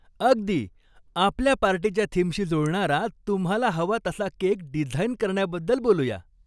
अगदी! आपल्या पार्टीच्या थीमशी जुळणारा तुम्हाला हवा तसा केक डिझाइन करण्याबद्दल बोलू या.